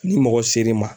Ni mɔgɔ ser'i ma